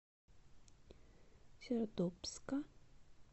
сердобска